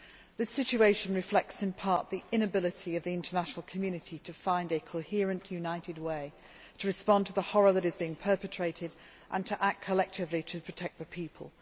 This situation reflects in part the inability of the international community to find a coherent, united way to respond to the horror that is being perpetrated and to act collectively to protect the people.